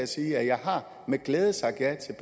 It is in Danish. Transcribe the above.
sige at jeg med glæde har sagt ja til